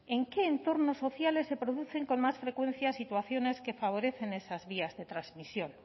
en qué entornos sociales se producen con más frecuencia situaciones que favorecen esas vías de transmisión